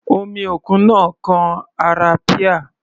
Omi òkun náà kan ara píà.